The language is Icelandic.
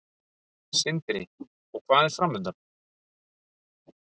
Sindri: Og hvað er framundan?